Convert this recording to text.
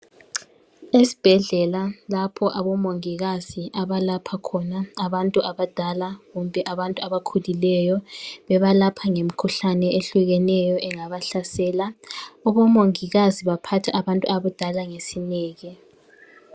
Esibhedlela lapho abomongikazi abalapha khona abantu abadala kumbe abantu abakhulileyo .Bebalapha ngemikhuhlane ehlukeneyo engabahlasela , abomongikazi baphatha abantu abadala ngesineke.